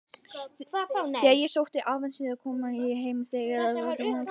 Þegar ég sótti um ávísanahefti kom ég hins vegar að tómum kofanum.